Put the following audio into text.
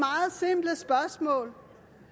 meget